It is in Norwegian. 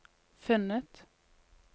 funnet